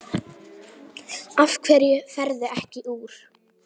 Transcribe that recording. Af hverju ferðu ekki úr?